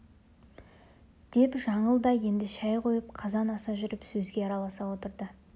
деп жаңыл да енді шай қойып қазан аса жүріп сөзге араласа отырды